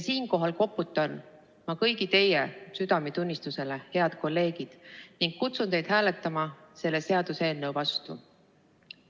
Siinkohal koputan ma kõigi teie südametunnistusele, head kolleegid, ning kutsun teid hääletama selle seaduseelnõu vastu.